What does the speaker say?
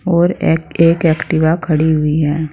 और एक एक एक्टिवा खड़ी हुई है।